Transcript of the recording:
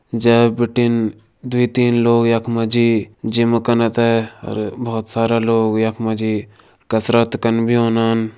जै भिटिन दुइ-तीन लोग यखमा जी जिम करना तै और बहौत सारा लोग यखमा जी कसरत करनू बी ओेैनान।